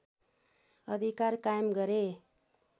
अधिकार कायम गरे